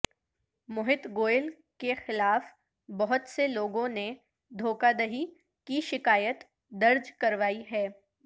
موہت گوئل کے خلاف بہت سے لوگوں نے دھوکہ دہی کی شکایت درج کروائی ہے